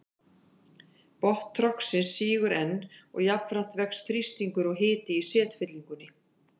Botn trogsins sígur nú enn og jafnframt vex þrýstingur og hiti í setfyllingunni.